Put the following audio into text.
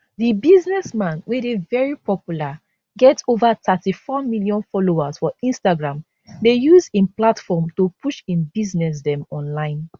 di businessman wey dey very popular get ova 34 million followers for instagram dey use im platform to push im business dem online